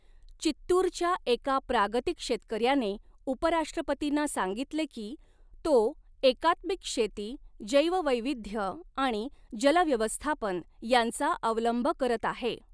चित्तुरच्या एका प्रागतिक शेतकऱ्याने उपराष्ट्रपतींना सांगितले की तो एकात्मिक शेती, जैववैविध्य आणि जल व्यवस्थापन यांचा अवलंब करत आहे.